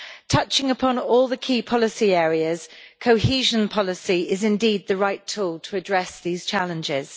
Touching upon all the key policy areas, cohesion policy is indeed the right tool to address these challenges.